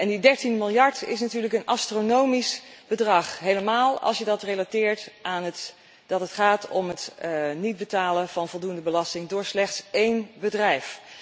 Die 13 miljard is natuurlijk een astronomisch bedrag, zeker als je dat relateert aan het feit dat het gaat om het niet betalen van voldoende belasting door slechts één bedrijf.